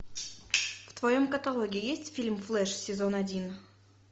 в товем каталоге есть фильм флеш сезон один